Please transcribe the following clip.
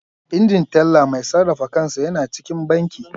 Injin Teller Mai sarrafa kansa yana cikin banki.